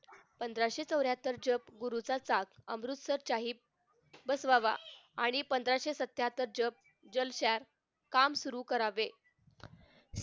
पंधराशे चौऱ्याहत्तर पुरुष्याचा अमृतसर साहिब बसवावा आणि पंधराशे सत्यातर च जल shack काम सुरु करावे